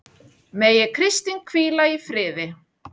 Megi Kristín hvíla í friði.